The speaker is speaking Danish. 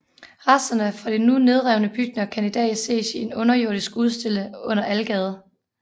Rester fra de nu nedrevne bygninger kan i dag ses i en underjordisk udstilling under Algade